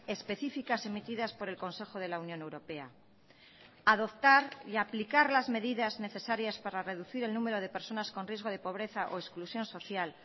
específicas emitidas por el consejo de la unión europea adoptar y aplicar las medidas necesarias para reducir el número de personas con riesgo de pobreza o exclusión social